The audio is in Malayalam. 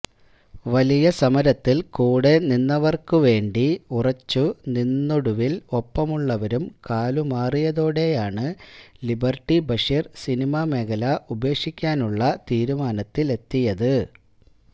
വലിയ സമരത്തിൽ കൂടെ നിന്നവർക്കു വേണ്ടി ഉറച്ചു നിന്നൊടുവിൽ ഒപ്പമുള്ളവരും കാലുമാറിയതോടെയാണ് ലിബർട്ടി ബഷീർ സിനിമ മേഖല ഉപേക്ഷിക്കാനുള്ള തീരുമാനത്തിലെത്തിയത്